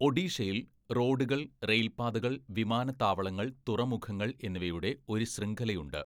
ഒഡീഷയിൽ റോഡുകൾ, റെയിൽപ്പാതകള്‍, വിമാനത്താവളങ്ങൾ, തുറമുഖങ്ങൾ എന്നിവയുടെ ഒരു ശൃംഖലയുണ്ട്.